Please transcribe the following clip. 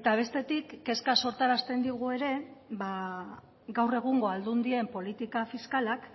eta bestetik kezka sortarazten digu ere gaur egungo aldundien politika fiskalak